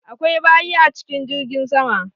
Akwai bayi a cikin jirgin sama.